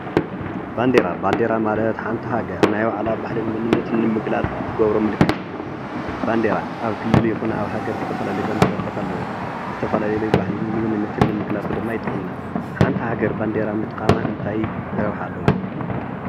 ባንዴራ ባንዴራ ማለተ ሓንቲ ሃገር ናይ ባዕላ ባህልን መንነትን ንምግላፅ ትገብሮ ምልክት እዩ። ባንዴራ ኣብ ክልል ይኩን ኣብሃገር ናይ ባዕለን ባንዴራታት አለው። ዝተፈላለዩ ባህልን ምንንጨነትን ምግላፅ ድማ ይጠቅሙና እዮም። ሓንቲ ሃገር ባንዴራ ብምጥቃም እንታይ ረብሓ ኣለዎ?